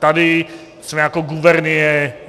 Tady jsme jako gubernie.